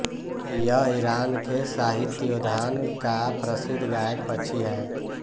यह ईरान के साहित्योद्यान का प्रसिद्ध गायक पक्षी है